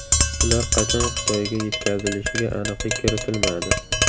Ular qachon Xitoyga yetkazilishiga aniqlik kiritilmadi.